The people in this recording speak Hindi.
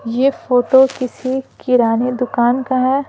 ये फोटो किसी किराने दुकान का है।